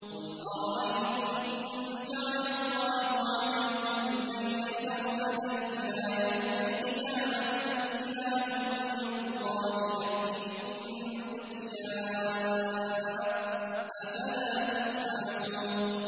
قُلْ أَرَأَيْتُمْ إِن جَعَلَ اللَّهُ عَلَيْكُمُ اللَّيْلَ سَرْمَدًا إِلَىٰ يَوْمِ الْقِيَامَةِ مَنْ إِلَٰهٌ غَيْرُ اللَّهِ يَأْتِيكُم بِضِيَاءٍ ۖ أَفَلَا تَسْمَعُونَ